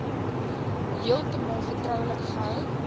heeltemal vertroulik gehou